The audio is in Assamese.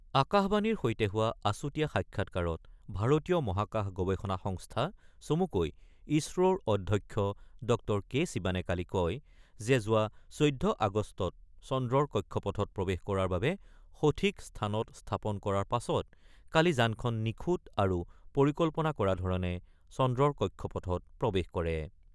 আকাশবাণীৰ সৈতে হোৱা আছুতীয়া সাক্ষাৎকাৰত ভাৰতীয় মহাকাশ গৱেষণা সংস্থা চমুকৈ ইছৰোৰ অধ্যক্ষ ড কে শিৱানে কালি কয় যে যোৱা ১৪ আগষ্টত চন্দ্ৰৰ কক্ষপথত প্ৰৱেশ কৰাৰ বাবে সঠিক স্থানত স্থাপন কৰাৰ পাছত কালি যানখন নিখুঁত আৰু পৰিকল্পনা কৰা ধৰণে চন্দ্ৰৰ কক্ষপথত প্ৰৱেশ কৰে।